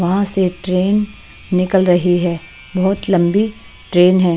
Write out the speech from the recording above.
वहाँ से ट्रेन निकल रही है बहुत लंबी ट्रेन है।